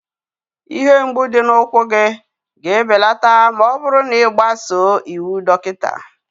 Ihe mgbu dị n'ụkwụ gị ga-ebelata ma ọ bụrụ na ị gbasoo iwu dọkịta